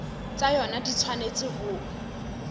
tsa yona di tshwanetse ho